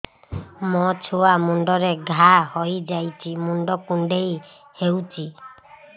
ମୋ ଛୁଆ ମୁଣ୍ଡରେ ଘାଆ ହୋଇଯାଇଛି ମୁଣ୍ଡ କୁଣ୍ଡେଇ ହେଉଛି